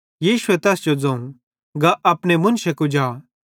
यीशुए तैस जो ज़ोवं गा अपनो मुन्श कुजा